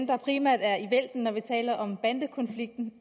der primært er i vælten når vi taler om bandekonflikten